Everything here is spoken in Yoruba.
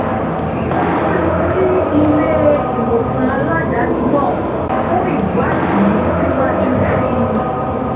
a tún lọ sí ilé-ìwòsàn aládàáni náà fún ìwádìí síwájú sí i